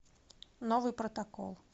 новый протокол